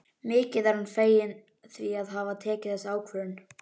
Mikið er hann feginn því að hafa tekið þessa ákvörðun.